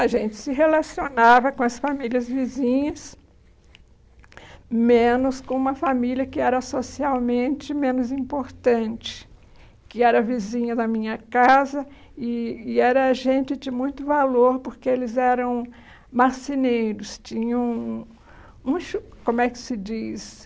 A gente se relacionava com as famílias vizinhas, menos com uma família que era socialmente menos importante, que era vizinha da minha casa eh e era gente de muito valor, porque eles eram marceneiros, tinham um... como é que se diz...